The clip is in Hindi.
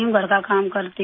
घर का काम करती हूँ